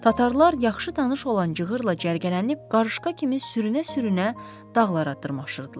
Tatarlar yaxşı tanış olan cığırla cərgələnib, qarışqa kimi sürünə-sürünə dağlara dırmaşırdılar.